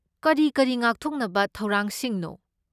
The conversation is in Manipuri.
ꯀꯔꯤ ꯀꯔꯤ ꯉꯥꯛꯊꯣꯛꯅꯕ ꯊꯧꯔꯥꯡꯁꯤꯡꯅꯣ?